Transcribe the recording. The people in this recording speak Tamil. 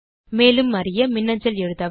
மேலும் அறிய மின்னஞ்சல் எழுதவும்